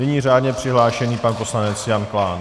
Nyní řádně přihlášený pan poslanec Jan Klán.